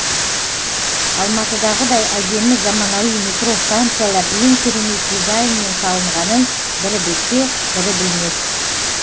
алматыдағыдай әдемі заманауи метро станциялар ең керемет дизайнмен салынғанын бірі білсе бірі білмес